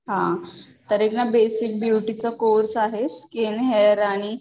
हा तर एक ना बेसिक ब्युटी चा कोर्स आहे स्किन हेअर आणि